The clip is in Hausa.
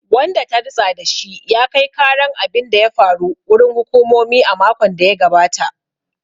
Wanda ta ritsa da shi ya kai karan abin da ya faru. wurin hukumomi a makon da ya gabata